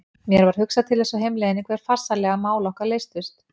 Mér var hugsað til þess á heimleiðinni hve farsællega mál okkar leystust.